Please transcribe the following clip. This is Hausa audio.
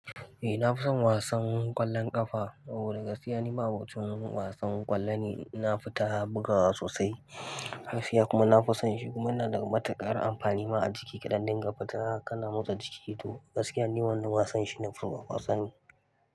Eh na fi son wasan ƙwallon ƙafa. Oh ni gaskiya ni babu cikin wasan ƙwallo ne ina fita bugawa sosai. Gaskiya kuma na fi son shi kuma yana da matuƙar amfani ma a jiki kaɗan. Dinga fita kana motsa jiki to gaskiya ni wannan wasan shi na fi so wasan.